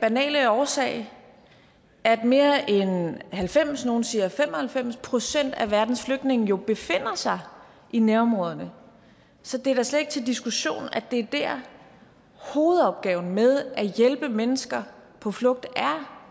banale årsag at mere end halvfems procent nogle siger fem og halvfems procent af verdens flygtninge jo befinder sig i nærområderne så det er da slet ikke til diskussion at det er der hovedopgaven med at hjælpe mennesker på flugt er